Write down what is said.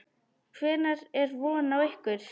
Hvenær er von á ykkur?